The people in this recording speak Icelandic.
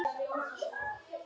örlög kringum sveima